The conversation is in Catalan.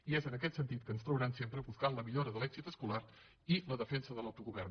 i és en aquest sentit que ens trobaran sempre buscant la millora de l’èxit escolar i la defensa de l’autogovern